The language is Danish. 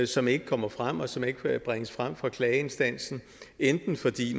som ikke kommer frem og som ikke bringes frem fra klageinstansen enten fordi